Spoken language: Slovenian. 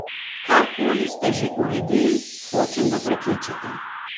Karkoli ste že uredili, hočem da prekličete.